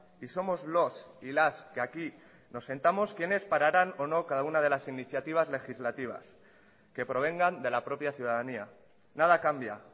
y somos los y las que aquí nos sentamos quienes pararán o no cada una de las iniciativas legislativas que provengan de la propia ciudadanía nada cambia